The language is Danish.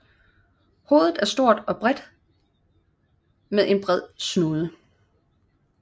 Hovedet er stort og bredt med en bred snude